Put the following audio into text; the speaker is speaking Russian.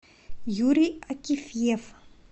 юрий акифьев